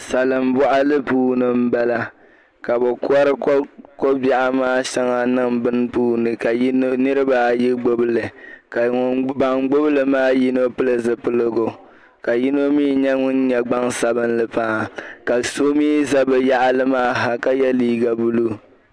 Salin boɣili puuni n bala ka bi kori kobiɛɣu maa niŋ bini puuni ka nirabaayi gbubili ka ban gbubili maa yino pili zipiligu ka yino mii nyɛ ŋun nyɛ gbansabinli paɣa ka so mii ʒɛ bi yaɣali maa ha ka yɛ liiga blue